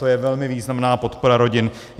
To je velmi významná podpora rodin.